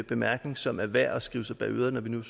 bemærkning som er værd at skrive sig bag øret når vi nu